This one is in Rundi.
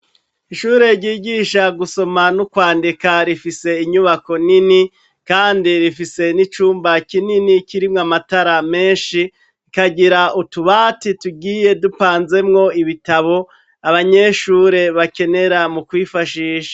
Ishure ry’igisha gusoma nokwandika rifise inyubako nini kandi rifise nicumba kinini kirimwo amatara menshi, kikagira utubati tugiye tupanzemwo ibitabo abanyeshure bakenera mukwifashisha.